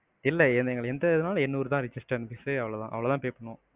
இல்ல எந்த இதுனாலும் என்னூறு தான் system fees அவ்ளோதான் pay பண்ணுவோம்.